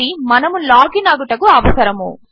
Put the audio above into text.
ఇది మనము లాగిన్ అగుటకు అవసరము